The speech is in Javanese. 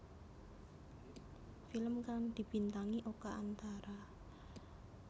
Film kang dibintangi Oka Antara